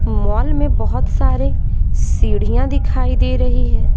Mall में बहुत सारे सीढ़ियां दिखाई दे रही हैं।